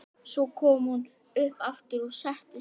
Svo kom hún upp aftur og settist.